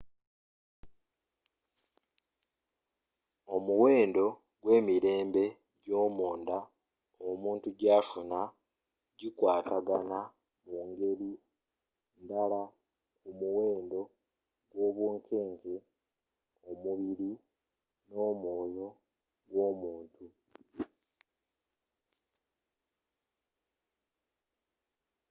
omuwendo gwe emirembe egyomunda omuntu gyafuna bikwatagana mungeri ndala ku muwendo gwobunkeke mumubiri nomwoyo gwomuntu